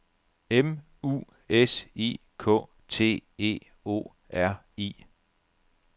M U S I K T E O R I